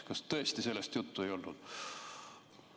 Kas tõesti sellest juttu ei olnud?